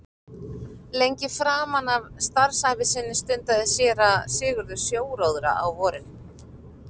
Lengi framan af starfsævi sinni stundaði séra Sigurður sjóróðra á vorin.